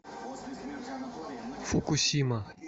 фукусима